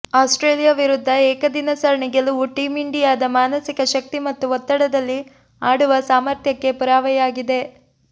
Australia ವಿರುದ್ಧ ಏಕದಿನ ಸರಣಿ ಗೆಲುವು ಟೀಂ ಇಂಡಿಯಾದ ಮಾನಸಿಕ ಶಕ್ತಿ ಮತ್ತು ಒತ್ತಡದಲ್ಲಿ ಆಡುವ ಸಾಮರ್ಥ್ಯಕ್ಕೆ ಪುರಾವೆಯಾಗಿದೆ